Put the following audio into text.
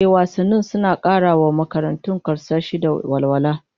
Ehh, wasanni suna kara wa makaranta karsashi da walwala